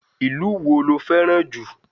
Ìlú wo lo fẹ́ràn jù?